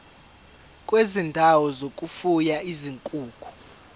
kwezindawo zokufuya izinkukhu